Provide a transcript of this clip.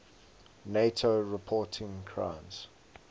nato reporting names